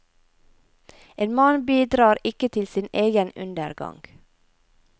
En mann bidrar ikke til sin egen undergang.